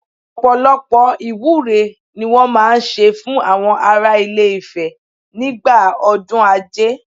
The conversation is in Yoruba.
Ọ̀pọ̀lọpọ̀ ìwúre ni wọ́n máa ń ṣe fún àwọn ará ilé Ifẹ̀ nígbà ọdún Ajé